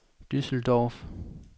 Düsseldorf